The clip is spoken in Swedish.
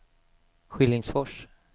Skillingsfors